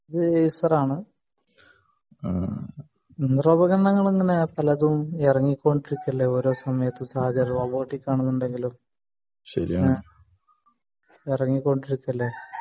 അത് ഏസർ ആണ് ഉപകരണങ്ങൾ ഇങ്ങനെ സമയത്തു ഇറങ്ങിക്കൊണ്ടിരിക്കുകയല്ലേ റോബോട്ടിക് ആണെങ്കിലും ഇറങ്ങിക്കൊണ്ടിരിക്കുകയല്ലേ